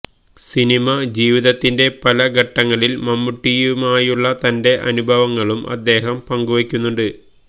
cinema ജീവിതത്തിന്റെ പല ഘട്ടങ്ങളിൽ മമ്മുട്ടിയുമായുള്ള തന്റെ അനുഭവങ്ങളും അദ്ദേഹം പങ്കുവയ്ക്കുന്നുണ്ട്